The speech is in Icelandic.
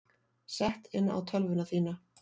Sett inn á tölvuna þína.